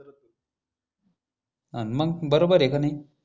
हं मग बरोबर हे का नी